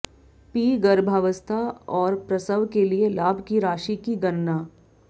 P गर्भावस्था और प्रसव के लिए लाभ की राशि की गणना